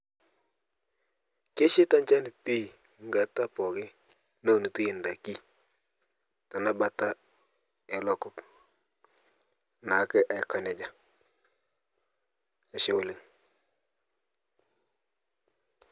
Keshaita enchan pii nkata muuj neunitoi endaiki tenabata ena kop neeku Aiko nejia Ashe oleng